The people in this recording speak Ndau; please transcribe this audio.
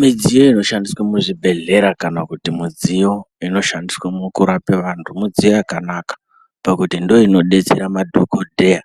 Midziyo inoshandiswa muzvibhedhleya kana kuti mudziyo inoshandiswa mukurapa vantu midziyo yakanaka pakuti ndoinodetsera madhokodheya